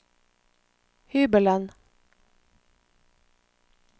hybelen